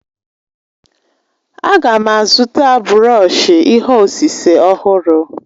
A ga m azụta brọọshi ihe osise ọhụrụ.